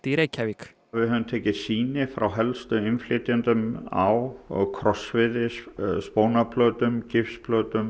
í Reykjavík við höfum tekið sýni frá helstu innflytjendum á krossviði spónarplötum